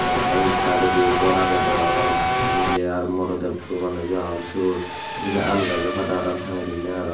tey e undi saidodiyo gor agey deyong tey miley ar morodey doganuju agon syot tey syeni aam gajo pada paraang tangeidonye aro.